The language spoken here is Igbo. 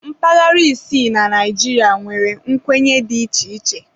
Mpaghara isii na Naịjirịa nwere nkwenye dị iche iche.